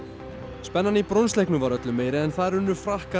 spennan í var öllu meiri en þar unnu Frakkar